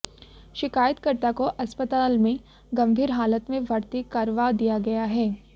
शिकायतकर्ता को अस्पताल में गंभीर हालत में भर्ती करवा दिया गया है